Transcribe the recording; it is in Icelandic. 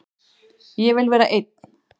Ég vil vera einn.